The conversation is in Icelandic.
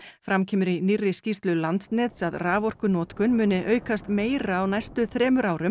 fram kemur í nýrri skýrslu Landsnets að raforkunotkun muni aukast meira á næstu þremur árum